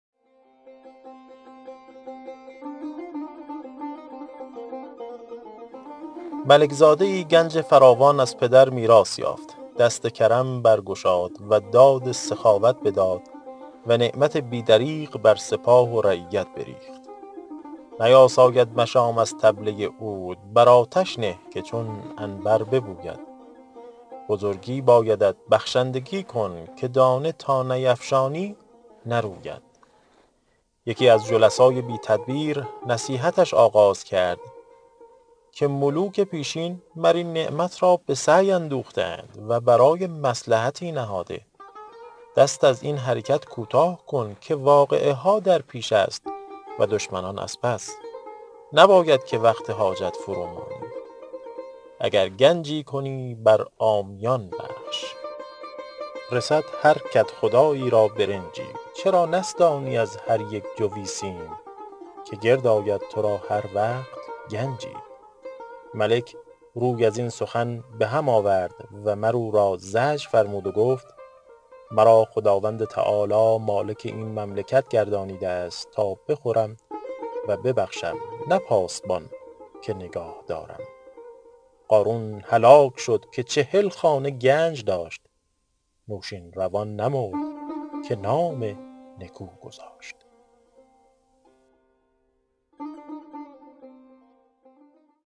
ملک زاده ای گنج فراوان از پدر میراث یافت دست کرم برگشاد و داد سخاوت بداد و نعمت بی دریغ بر سپاه و رعیت بریخت نیاساید مشام از طبله عود بر آتش نه که چون عنبر ببوید بزرگی بایدت بخشندگی کن که دانه تا نیفشانی نروید یکی از جلسای بی تدبیر نصیحتش آغاز کرد که ملوک پیشین مر این نعمت را به سعی اندوخته اند و برای مصلحتی نهاده دست از این حرکت کوتاه کن که واقعه ها در پیش است و دشمنان از پس نباید که وقت حاجت فرو مانی اگر گنجی کنی بر عامیان بخش رسد هر کدخدایی را برنجی چرا نستانی از هر یک جوی سیم که گرد آید تو را هر وقت گنجی ملک روی از این سخن به هم آورد و مر او را زجر فرمود و گفت مرا خداوند تعالیٰ مالک این مملکت گردانیده است تا بخورم و ببخشم نه پاسبان که نگاه دارم قارون هلاک شد که چهل خانه گنج داشت نوشین روان نمرد که نام نکو گذاشت